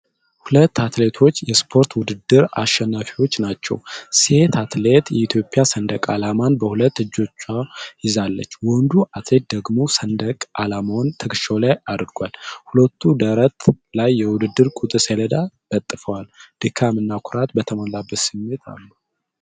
ሁለት አትሌቶች የስፖርት ውድድር አሸናፊዎች ናቸው። ሴት አትሌት የኢትዮጵያ ሰንደቅ ዓላማን በሁለት እጆቿ ይዛለች። ወንዱ አትሌት ደግሞ ሰንደቅ ዓላማውን ትከሻው ላይ አድርጓል። ሁለቱም ደረት ላይ የውድድር ቁጥር ሰሌዳ ለጥፈዋል። ድካም እና ኩራት በተሞላበት ስሜት አሉ።